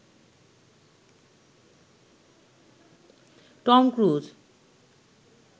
Tom cruise